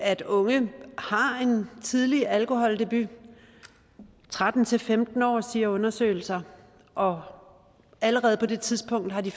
at unge har en tidlig alkoholdebut tretten til femten år siger undersøgelser og allerede på det tidspunkt har de